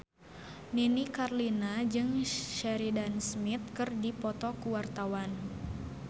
Nini Carlina jeung Sheridan Smith keur dipoto ku wartawan